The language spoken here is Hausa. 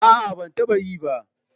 A'a, ban taba yi ba.